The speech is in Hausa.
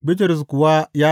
Bitrus kuwa ya sa.